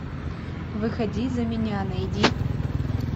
выходи за меня найди